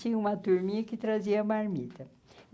Tinha uma turminha que trazia a marmida.